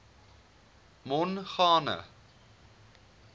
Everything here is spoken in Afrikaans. mongane